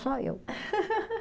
Só eu.